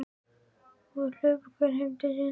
Og hlupu þau þá hvert heim til sín.